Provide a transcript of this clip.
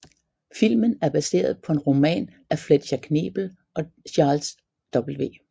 Filmen er baseret på en roman af Fletcher Knebel og Charles W